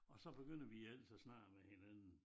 Og så begynder vi ellers at snakke med hinanden